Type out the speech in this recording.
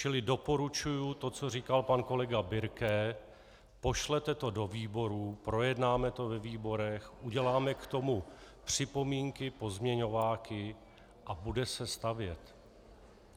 Čili doporučuji to, co říkal pan kolega Birke, pošlete to do výborů, projednáme to ve výborech, uděláme k tomu připomínky, pozměňováky a bude se stavět.